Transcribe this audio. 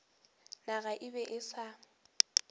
naga e be e sa